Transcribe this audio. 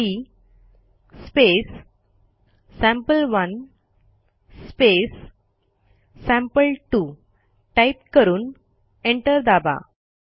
CMP sample one sample two type करून enter दाबा